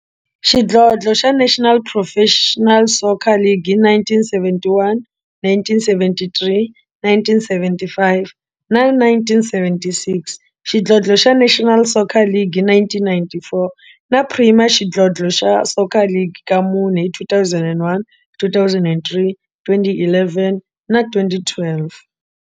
Xidlodlo xa National Professional Soccer League hi 1971, 1973, 1975 na 1976, xidlodlo xa National Soccer League hi 1994, na Premier Xidlodlo xa Soccer League ka mune, hi 2001, 2003, 2011 na 2012.